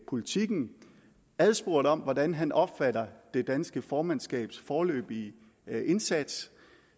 politiken adspurgt om hvordan han opfatter det danske formandskabs foreløbige indsats